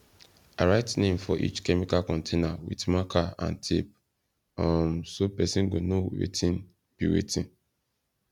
i write name for each chemical container with marker and tape um so person go know wetin be wetin